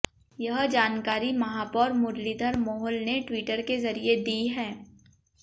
यह जानकारी महापौर मुरलीधर मोहोल ने ट्वीटर के जरिए दी है